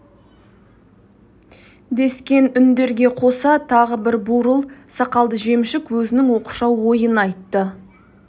дескен үндерге қоса тағы бір бурыл сақалды жемшік өзінің оқшау ойын айтты